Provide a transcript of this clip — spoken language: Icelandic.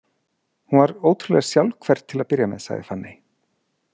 Hún var ótrúlega sjálfhverf til að byrja með, sagði Fanney.